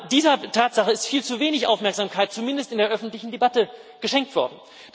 Dieser Tatsache ist viel zu wenig Aufmerksamkeit zumindest in der öffentlichen Debatte geschenkt worden.